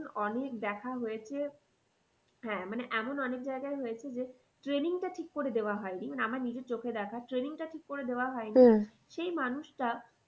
অনেক দেখা হয়েছে। হ্যাঁ মানে এমন অনেক জায়গায় হয়েছে যে training টা ঠিক করে দেওয়া হয়নি মানে আমার নিজের চোখে দেখা training টা ঠিক করে দেওয়া হয়নি সেই মানুষটা